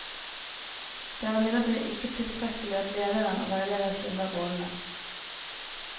Det er imidlertid ikke tilstrekkelig at leder og veileder skiller rollene.